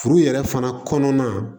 Furu yɛrɛ fana kɔnɔna